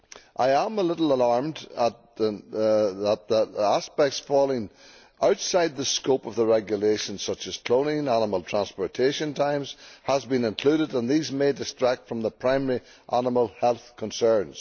I am a little alarmed that aspects falling outside the scope of the regulation, such as cloning and animal transportation times, have been included and that these may distract from the primary animal health concerns.